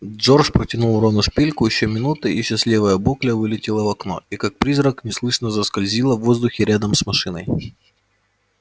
джордж протянул рону шпильку ещё минута и счастливая букля вылетела в окно и как призрак неслышно заскользила в воздухе рядом с машиной